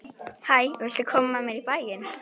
Hæ, viltu koma með mér í bæinn?